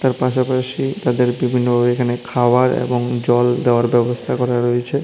তার পাশাপাশি তাদের বিভিন্ন এখানে খাওয়ার এবং জল দেওয়ার ব্যবস্থা করা রয়েছে।